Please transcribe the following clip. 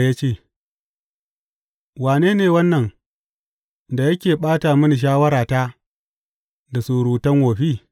Ya ce, Wane ne wannan da yake ɓata mini shawarata da surutan wofi?